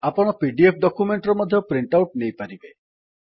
ଆପଣ PDF document ର ମଧ୍ୟ ପ୍ରିଣ୍ଟ୍ ଆଉଟ୍ ନେଇପାରିବେ